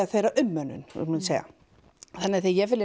þeirra ummönnun þannig þegar ég fer